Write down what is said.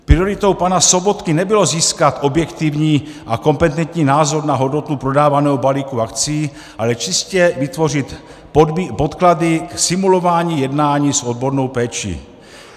Prioritou pana Sobotky nebylo získat objektivní a kompetentní názor na hodnotu prodávaného balíku akcí, ale čistě vytvořit podklady k simulování jednání s odbornou péčí.